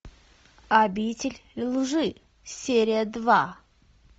обитель лжи серия два